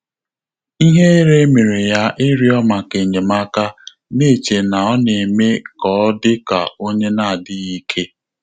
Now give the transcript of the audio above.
Íhérè mèrè yá ị́rị́ọ́ màkà ényémáká, nà-échè nà ọ́ nà-émé kà ọ́ dị́kà ọ́nyé nà-ádị́ghị́ íké.